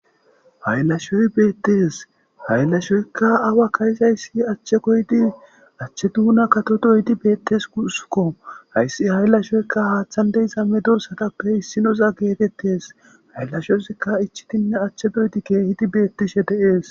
Haylashoy beetes haylasjoyka awa kayizaysi ache doyidi ache funaka gage doyidi betes gusuko haysi haylasjoyka hathan de'iza medosatape issinoza getetes haylashozika ichidi ache doyidi kehipe betishe dees